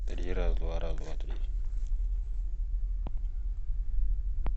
три раз два раз два три